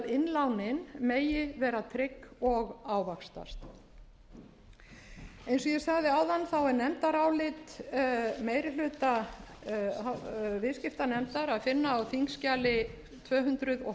innlánin megi vera trygg og ávaxtast eins og ég sagði áðan er nefndarálit meiri hluta viðskiptanefndar að finna á þingskjali tvö hundruð og